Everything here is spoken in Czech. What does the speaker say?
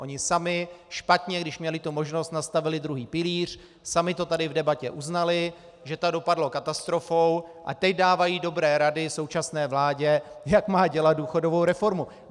Oni sami špatně, když měli tu možnost, nastavili druhý pilíř, sami to tady v debatě uznali, že to dopadlo katastrofou, a teď dávají dobré rady současné vládě, jak má dělat důchodovou reformu.